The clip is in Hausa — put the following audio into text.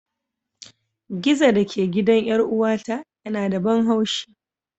Gizo da ke gidan 'yar'uwata yana da ban haushi.